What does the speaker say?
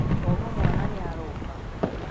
kwoguo, mwana nĩ aroka?